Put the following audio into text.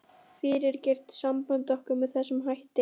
Hvernig gastu fyrirgert sambandi okkar með þessum hætti?